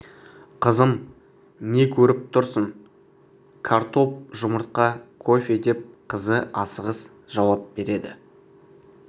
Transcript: қызым не көріп тұрсың картоп жұмыртқа кофе деп қызы асығыс жауап береді